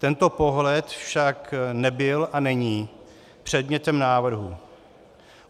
Tento pohled však nebyl a není předmětem návrhu.